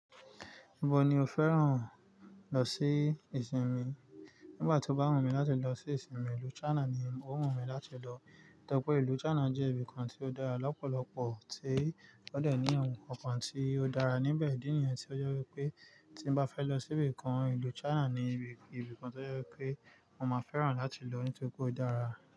Ibo ni o fẹ́ràn lọ sí ìsinmi? Nígbà tí ó bá wù mí láti lọ sí ìsinmi ìlú China ni ó wù mí láti lọ. Nítorí pé ìlú China jẹ́ ibìkan tí ó dára lọ́pọ̀lọpọ̀, tí ó dẹ̀ ní awon nkankan t tí ó dára níbẹ̀. Idi nìyen tí ó jẹ́ wipé tí n bá fẹ́ lọ sí ibìkan, ìlú China ni ibìkan tí ó jẹ́ pé mo máa fẹ́ràn láti lọ ní́torí pé ó dára.